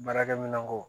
Baarakɛminɛnko